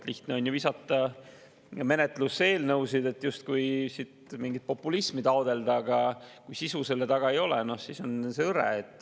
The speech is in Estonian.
Lihtne on ju visata menetlusse eelnõusid, et justkui siin mingit populismi taotleda, aga kui sisu selle taga ei ole, no siis on see hõre.